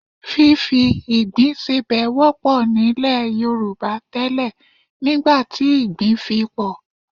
Fífi ìgbín sebẹ̀ wọ́pọ̀ nílẹ̀ Yorùbá tẹ́lẹ̀ nígbà tí ìgbín fi pọ̀